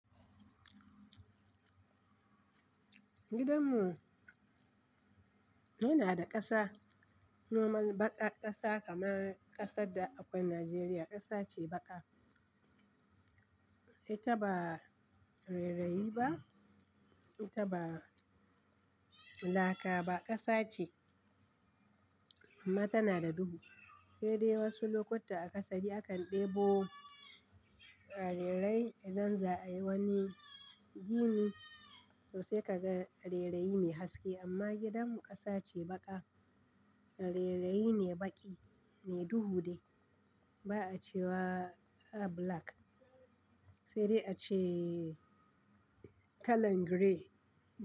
Gidan mu, yana da ƙasa nomal baka ƙasa kamar ƙasar da akwai Najeriya. Ƙasa ce baƙa. Ita ba rerayiba, ita ba laka ba, ƙasa ce amma tana da duhu. Sai dai wasu lokuta a aƙasari akan ɗebo reirayi don za a yi wani gini, to sai ka ga reraiyi mai haske. Amma gidanmu ƙasa ce baƙa, reraiyi ne baƙi me duhu dai ba a ce wa a bulak sai dai a ce kalan girey.